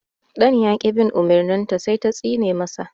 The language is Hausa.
Ɗan ya ƙi bin umurnin ta sai ta tsine ma sa